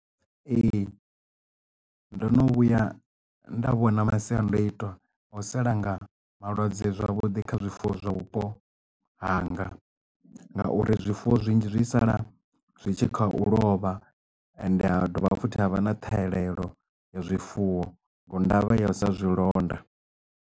Ee ndo no vhuya nda vhona masiandaitwa o salanga malwadze zwavhuḓi kha zwifuwo zwa vhupo hanga nga uri zwifuwo zwinzhi zwi sala zwi tshi kha u lovha ende ha dovha futhi havha na ṱhahelelo ya zwifuwo nga ndavha ya u sa zwi londa.